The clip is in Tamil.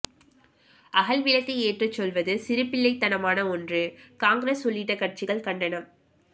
அகல் விளக்கு ஏற்றச்சொல்வது சிறுபிள்ளைத்தனமான ஒன்று காங்கிரஸ் உள்ளிட்ட கட்சிகள் கண்டனம்